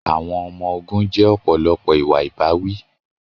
Àwọn ọmọ ogun jẹ́ ọ̀pọ̀lọpọ̀ ìwà ìbáwí.